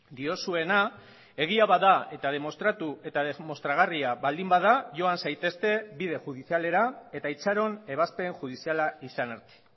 diozuena egia bada eta demostratu eta demostragarria baldin bada joan zaitezte bide judizialera eta itxaron ebazpen judiziala izan arte